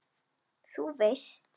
Þú veist.